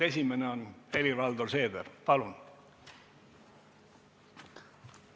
Esimene on Helir-Valdor Seeder, palun!